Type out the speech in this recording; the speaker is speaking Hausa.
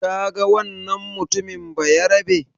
Kaga wannan mutumin Bayarabe?